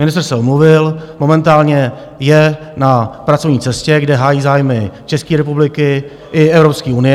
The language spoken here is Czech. Ministr se omluvil, momentálně je na pracovní cestě, kde hájí zájmy České republiky i Evropské unie.